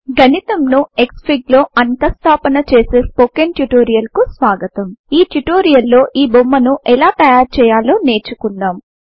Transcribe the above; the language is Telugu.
గణితంను క్స్ఫిగ్ లో అంతః స్థాపన చేసే స్పోకెన్ ట్యుటోరియల్ కు స్వాగతం ఈ ట్యుటోరియల్ లో ఈ బొమ్మను ఎలా తయారు చేయాలో నేర్చుకుందాం